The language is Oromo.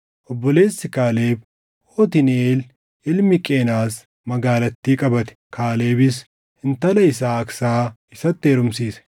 Obboleessi Kaaleb, Otniiʼeel ilmi Qenaz magaalattii qabate; Kaalebis intala isaa Aaksaa isatti heerumsiise.